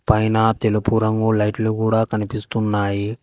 పైన తెలుపు రంగు లైట్లు కూడా కనిపిస్తున్నాయి.